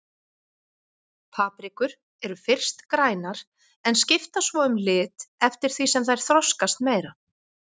Paprikur eru fyrst grænar en skipta svo um lit eftir því sem þær þroskast meira.